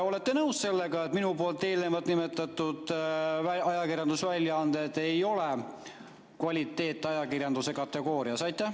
Olete te nõus sellega, et minu nimetatud ajakirjandusväljaanded ei kuulu kvaliteetajakirjanduse kategooriasse?